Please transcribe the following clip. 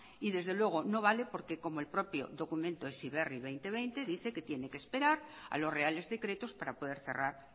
y desde luego no vale porque el propio documento heziberri dos mil veinte dice que tiene que esperar a los reales decretos para poder cerrar